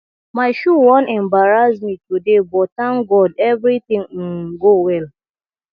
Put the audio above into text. my shoe wan embarrass me today but thank god everything um go well